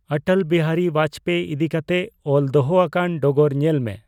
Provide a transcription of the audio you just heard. ᱚᱴᱚᱞ ᱵᱤᱦᱟᱨᱤ ᱵᱟᱡᱽᱯᱮ ᱤᱫᱤ ᱠᱟᱛᱮ ᱚᱞ ᱫᱚᱦᱚ ᱟᱠᱟᱱ ᱰᱚᱜᱚᱨ ᱧᱮᱞ ᱢᱮ ᱾